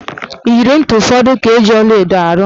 Iyeri ntị ụfọdụ ka eji ọlaedo arụ.